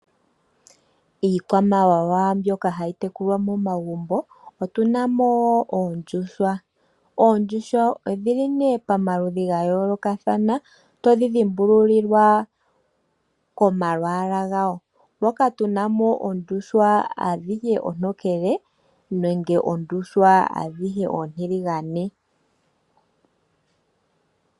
Iikwamawawa mbyoka hayi tekulwa momagumbo, otu na mo oondjuhwa. Oondjuhwa odhi li nduno pamaludhi ga yoolokathana, to dhi dhimbululilwa komalwaala gadho, moka tu na mo oondjuhwa adhihe oontokele nenge oondjuhwa adhihe oontiligane.